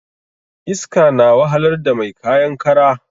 Iska na wahalar da mai kayan kara